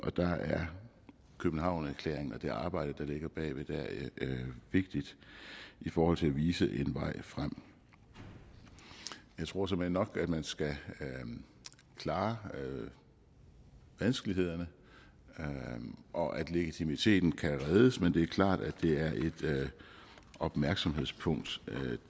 og der er københavnerklæringen og det arbejde der ligger bag vigtigt i forhold til at vise en vej frem jeg tror såmænd nok at man skal klare vanskelighederne og at legitimiteten kan reddes men det er klart at det er et opmærksomhedspunkt